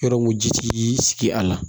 Yɔrɔ mun ji ti sigi a la